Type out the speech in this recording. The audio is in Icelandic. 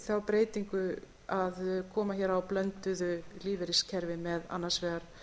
þá breytingu að koma hér á blönduðu lífeyriskerfi með annars vegar